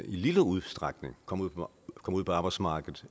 en lille udstrækning kommer ud på arbejdsmarkedet